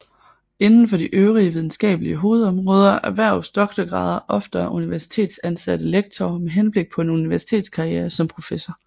Inden for de øvrige videnskabelige hovedområder erhverves doktorgrader oftere af universitetsansatte lektorer med henblik på en universitetskarriere som professor